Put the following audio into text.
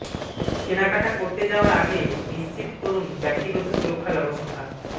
কেনাকাটা করতে যাওয়ার আগে নিশ্চিত করুণ ব্যক্তিগত সুরক্ষা ব্যবস্থা